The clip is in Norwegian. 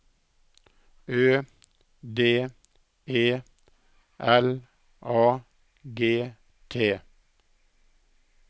Ø D E L A G T